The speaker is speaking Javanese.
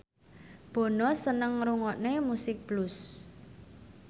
Bono seneng ngrungokne musik blues